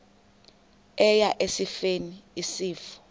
eya esifeni isifo